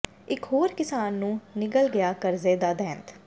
ਇਕ ਹੋਰ ਕਿਸਾਨ ਨੂੰ ਨਿਗਲ ਗਿਆ ਕਰਜ਼ੇ ਦਾ ਦੈਂਤ